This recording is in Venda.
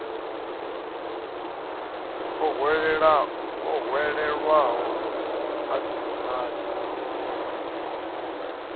o hwelelwaho a ḓi vhonadze